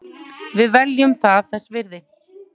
Við teljum það þess virði